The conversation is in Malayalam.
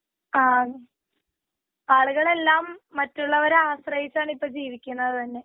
ആ ആളുകളെല്ലാം മറ്റുള്ളവരെ ആശ്രെയിച്ചാണ് ഇപ്പൊ ജീവിക്കുന്നത് തന്നെ.